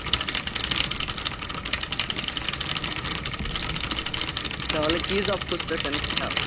তাহলে কি job খুঁজতাছেন ভাইয়া?